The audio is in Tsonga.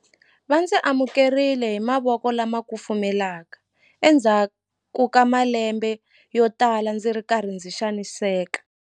Va ndzi amukerile hi mavoko lama kufumelaka endzhaku ka malembe yotala ndzi ri karhi ndzi xaniseka.